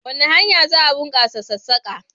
Wace hanya za a bunkasa sassaka?